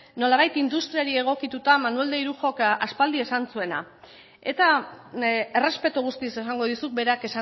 nolabait industriari egokituta manuel de irujok aspaldi esan zuena eta errespetu guztiz esango dizut berak